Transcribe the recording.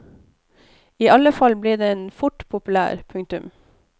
I alle fall ble den fort populær. punktum